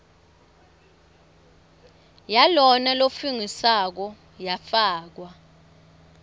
yalona lofungisako yafakwa